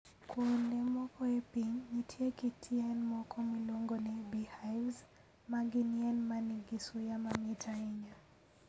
Kuonde moko e piny, nitie kit yien moko miluongo ni beehives, ma gin yien ma nigi suya mamit ahinya.